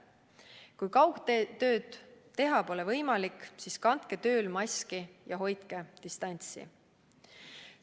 Kui kaugtööd teha pole võimalik, siis kandke tööl maski ja hoidke distantsi!